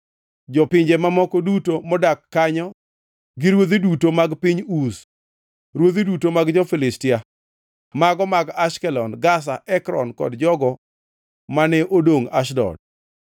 jopinje mamoko duto modak kanyo gi; ruodhi duto mar piny Uz; ruodhi duto mag jo-Filistia (mago mag Ashkelon, Gaza, Ekron kod jogo mane odongʼ Ashdod);